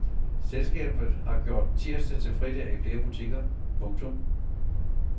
Selskabet har gjort tirsdag til fridag i flere butikker. punktum